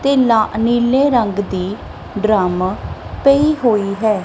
ਤੇ ਨ ਨੀਲੇ ਰੰਗ ਦੀ ਡਰੱਮ ਪਈ ਹੋਈ ਹੈ।